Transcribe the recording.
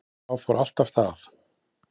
Þá fór allt af stað